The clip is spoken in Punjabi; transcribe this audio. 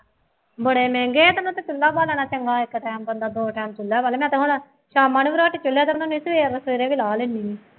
ਬੜੇ ਮਹਿੰਗੇ ਹੈ ਇਹਦੇ ਨਾਲੋਂ ਤਾਂ ਚੁੱਲ੍ਹਾ ਬਾਲਣਾ ਚੰਗਾ ਹੈ ਇੱਕ ਟਾਈਮ ਬੰਦਾ ਦੋ ਟਾਈਮ ਚੁੱਲ੍ਹਾ ਬਾਲੇ ਤਾਂ ਭਲਾ ਸ਼ਾਮਾਂ ਨੂੰ ਸਵੇਰੇ ਵੀ ਲਾਹ ਲੈਂਦੀ